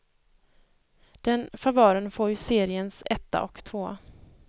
Den favören får ju seriens etta och tvåa.